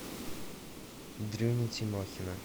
дрюню тимохина